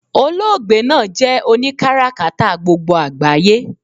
Oloogbe naa jé̩ oni karakata gbogbo àgbáyé